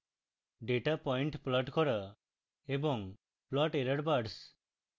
data point plot করা